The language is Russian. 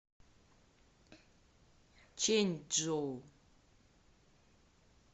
чэньчжоу